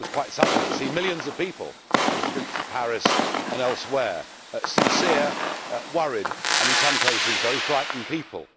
It was quite something to see millions of people on the streets of Paris and elsewhere sincere, worried, and, in some cases, very frightened people.